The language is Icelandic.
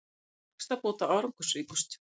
Hækkun vaxtabóta árangursríkust